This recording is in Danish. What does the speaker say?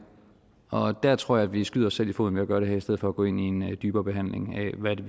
og der tror jeg vi skyder os selv i foden ved at gøre det her i stedet for at gå ind i en dybere behandling af hvad det